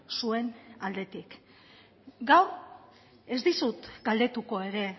zuen aldetik gaur ez dizut galdetuko ere